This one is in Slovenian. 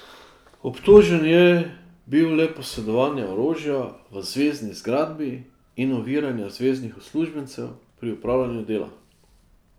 Obtožen je bil le posedovanja orožja v zvezni zgradbi in oviranja zveznih uslužbencev pri opravljanju dela.